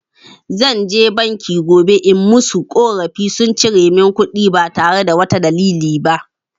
Zan je bank gobe in musu ƙorafi, sun cire mun kuɗi ba tare da wata dalili ba.